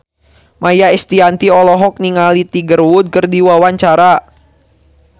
Maia Estianty olohok ningali Tiger Wood keur diwawancara